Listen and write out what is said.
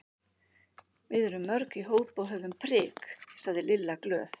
Við erum mörg í hóp og höfum prik sagði Lilla glöð.